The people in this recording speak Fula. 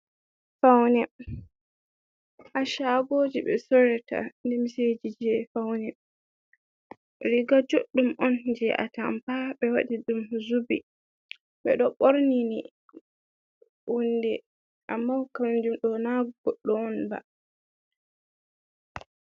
Faune ha shagoji ɓe sorata limseji je faune, riga juɗɗum on je atampa ɓe waɗi ɗum zubi ɓe ɗo ɓorni ni hunde, amma kanjum ɗo na goɗɗo on ba.